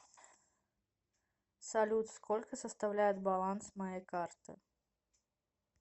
салют сколько составляет баланс моей карты